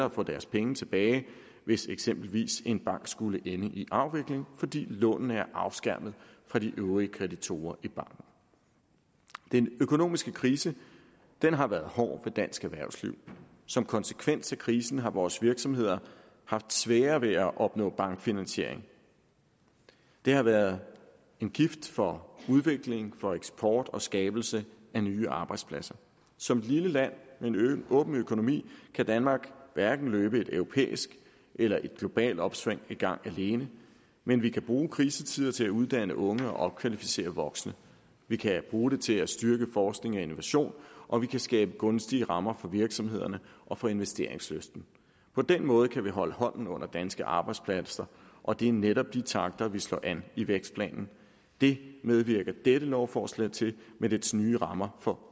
at få deres penge tilbage hvis eksempelvis en bank skulle ende i afvikling fordi lånene er afskærmet fra de øvrige kreditorer i banken den økonomiske krise har været hård ved dansk erhvervsliv som konsekvens af krisen har vores virksomheder haft sværere ved at opnå bankfinansiering det har været en gift for udvikling for eksport og for skabelse af nye arbejdspladser som et lille land med en åben økonomi kan danmark hverken løbe et europæisk eller et globalt opsving i gang alene men vi kan bruge krisetider til at uddanne unge og opkvalificere voksne vi kan bruge det til at styrke forskning og innovation og vi kan skabe gunstige rammer for virksomhederne og for investeringslysten på den måde kan vi holde hånden under danske arbejdspladser og det er netop de takter vi slår an i vækstplanen det medvirker dette lovforslag til med dets nye rammer for